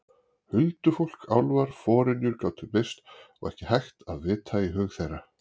Huldufólk, álfar, forynjur gátu birst og ekki hægt að vita í hug þeirra.